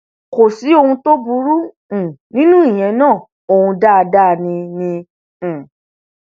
kò sí ohun tó burú um nínú ìyẹn náà ọhún dáadáa ni ni um